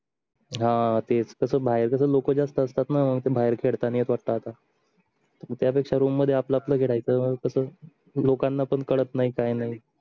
हां तेच कस बाहेर कस लोक जास्त असतात ना ते बाहेर खेळता नाही येत वाटतआता त्या पेक्षा room मध्ये आपल आपल खेळायच मग कस लोकांना पण कळत नाही काय नाही